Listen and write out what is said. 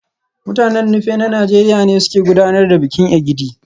Mutanen Nupe na Najeriya ne suke gudanar da bikin Egidi